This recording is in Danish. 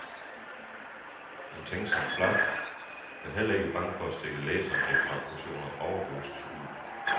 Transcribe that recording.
En tænksom flap, der heller ikke er bange for at stikke læseren et par portioner overdosis ud.